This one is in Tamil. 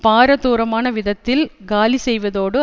பாரதூரமான விதத்தில் காலி செய்வதோடு